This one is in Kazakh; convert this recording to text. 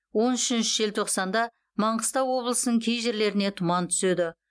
он үшінші желтоқсанда маңғыстау облысының кей жерлеріне тұман түседі